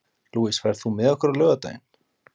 Louise, ferð þú með okkur á laugardaginn?